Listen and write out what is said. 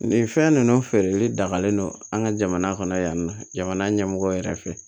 Nin fɛn ninnu feereli dagalen don an ka jamana kɔnɔ yan nɔ jamana ɲɛmɔgɔ yɛrɛ fɛ